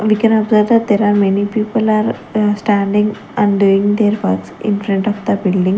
We can observe that there are many people are standing and doing their works in front of the building.